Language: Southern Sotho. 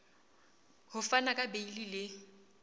ho fana ka beile le